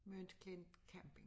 Møns klint camping